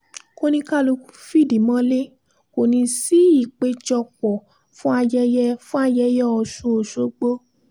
kòníkálukú fìdí mọ́lẹ̀ kò ní í sí ìpéjọpọ̀ fún ayẹyẹ fún ayẹyẹ ọ̀sùn ọ̀ṣọ́gbó